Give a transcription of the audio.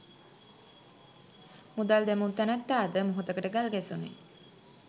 මුදල් දැමූ නැනැත්තා ද මොහොතකට ගල් ගැසුනි.